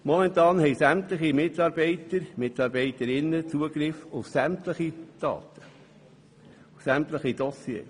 Momentan haben sämtliche Mitarbeiterinnen und Mitarbeiter Zugriff auf sämtliche Daten und Dossiers.